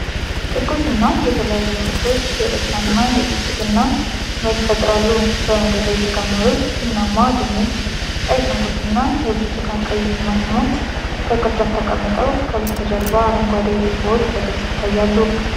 ትኩስና የተለያዩ ምርቶች የደስታ እና የብልጽግና ስሜት ይፈጥራሉ። በመደዳ የተከመሩት ቡናማ ድንች፣ ቀይ ሽንኩርትና የብርቱካን-ቀይ ቲማቲሞች በቅርጫቶች ተቀምጠው፣ ከበስተጀርባ አረንጓዴ ዱባዎች በግልጽ ይታያሉ።